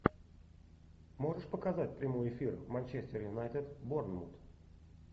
можешь показать прямой эфир манчестер юнайтед борнмут